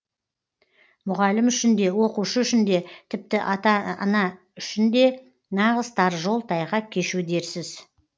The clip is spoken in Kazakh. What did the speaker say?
мұғалім үшін де оқушы үшін де тіпті ата ана үшін де нағыз тар жол тайғақ кешу дерсіз